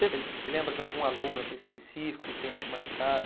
Você você lembra de algum aluno assim específico que tenha te marcado?